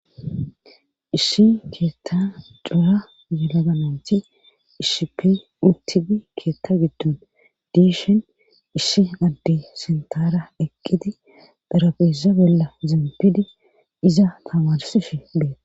issi keetta cuha yilagananti ishipi utipi keetta giddon diishin ishi addi sintaara eqqiti dherabesa bella zempidi iza tamarsifi beet